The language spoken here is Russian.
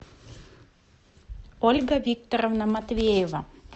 ольга викторовна матвеева